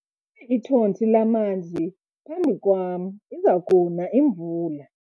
ithontsi lamanzi phambi kwam , iza kuna imvula.